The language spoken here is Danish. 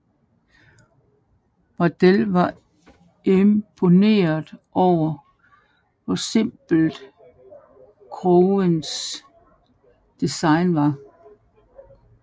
Wardell var imponeret over hvor simpelt Owens design var